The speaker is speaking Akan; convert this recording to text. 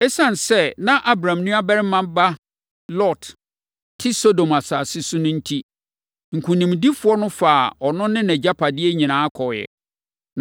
Esiane sɛ na Abram nuabarima ba Lot te Sodom asase so no enti, nkonimdifoɔ no faa ɔno ne nʼagyapadeɛ nyinaa kɔeɛ.